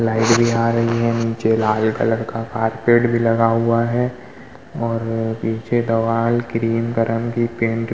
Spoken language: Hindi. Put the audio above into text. लाइट भी आ रही है। नीचे लाल कलर का कारपेट भी लगा हुआ है और पीछे दवाल क्रीम क्-रंग की पेंट --